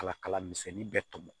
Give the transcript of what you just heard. Kala kala misɛnni bɛɛ tɔmɔ